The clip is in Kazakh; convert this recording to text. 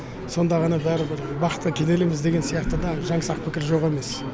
с онда ғана бәрібір бақытқа кенелеміз деген сияқты да жаңсақ пікір жоқ емес